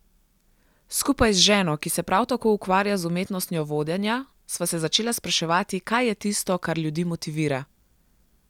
Skupaj z ženo, ki se prav tako ukvarja z umetnostjo vodenja, sva se začela spraševati, kaj je tisto, kar ljudi motivira.